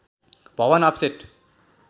Bhavan offset